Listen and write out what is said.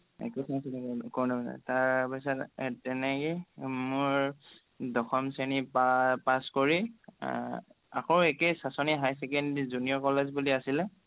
তাৰপিছত তেনেকেই মোৰ দশম শ্ৰেণী পাছ কৰি আহ আকৌ একেই চাঁচনি higher secondary junior college বুলি আছিলে